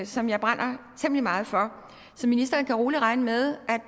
som jeg brænder temmelig meget for så ministeren kan rolig regne med